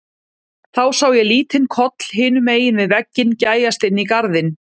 Þá sá ég lítinn koll hinum megin við vegginn gægjast inn í garðinn.